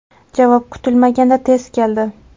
Javob kutilmaganda tez keldi.